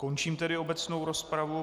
Končím tedy obecnou rozpravu.